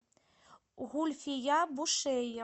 гульфия бушейя